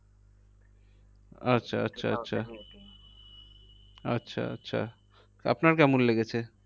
আচ্ছা আচ্ছা আচ্ছা আপনার কেমন লেগেছে?